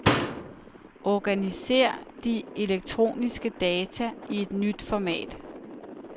Organiser de elektroniske data i et nyt format.